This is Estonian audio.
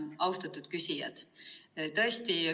Austatud küsijad!